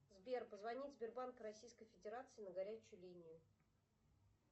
сбер позвонить сбербанк российской федерации на горячую линию